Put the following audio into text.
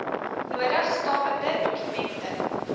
nodige stawende dokumente